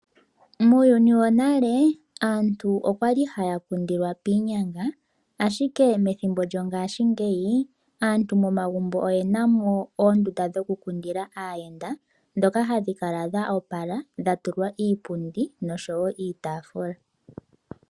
Muuyuni wonale aantu okwali haya kundilwa piinyanga ashike methimbo lyongashingeyi aantu momagumbo oyenamo oondunda dho kukundila aayenda ndhoma hadhi kala dha opala dha tulwa iipundi noshowo iitaafula